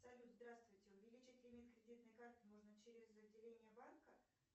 салют здравствуйте увеличить лимит кредитной карты можно через отделение банка